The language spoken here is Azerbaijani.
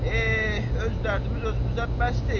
Eh, öz dərdimiz özümüzə bəs deyil?